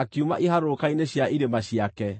akiuma iharũrũka-inĩ cia irĩma ciake.